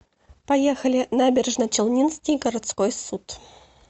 поехали набережночелнинский городской суд